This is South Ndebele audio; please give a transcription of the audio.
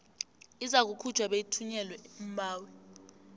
izakukhutjhwa beyithunyelelwe umbawi